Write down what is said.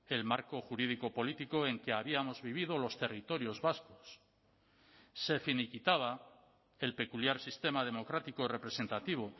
el marco jurídico político en que habíamos vivido los territorios vascos se finiquitaba el peculiar sistema democrático representativo